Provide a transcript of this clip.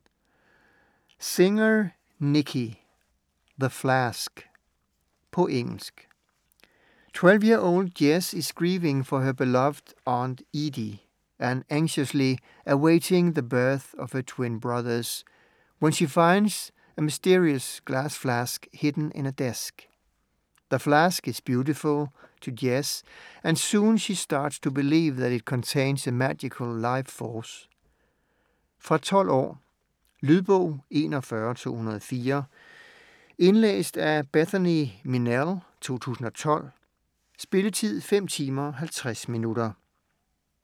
Singer, Nicky: The flask På engelsk.12-year-old Jess is grieving for her beloved Aunt Edie, and anxiously awaiting the birth of her twin brothers, when she finds a mysterious glass flask hidden in a desk. The flask is beautiful to Jess, and soon she starts to believe that it contains a magical life-force. Fra 12 år. Lydbog 41204 Indlæst af Bethany Minelle, 2012. Spilletid: 5 timer, 50 minutter.